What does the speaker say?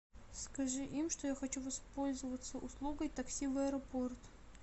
скажи им что я хочу воспользоваться услугой такси в аэропорт